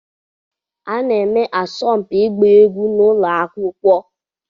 A na-eme asọmpi ịgba egwu n'ụlọ akwụkwọ.